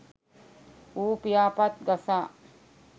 ඌ පියාපත් ගසා